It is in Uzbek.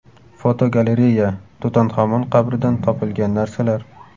Fotogalereya: Tutanxamon qabridan topilgan narsalar.